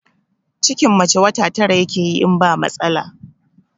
Cikin mace wata tara yakeyi in ba matsala